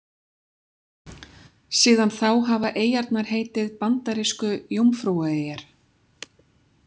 Síðan þá hafa eyjarnar heitið Bandarísku Jómfrúaeyjar.